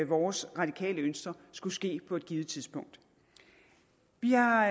vores radikale ønsker skulle ske på et givet tidspunkt vi har